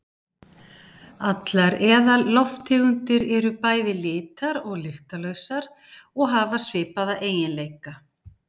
allar eðallofttegundir eru bæði litar og lyktarlausar og hafa svipaða eiginleika